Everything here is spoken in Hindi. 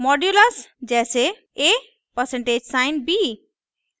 %मॉड्यूलस जैसे: a%b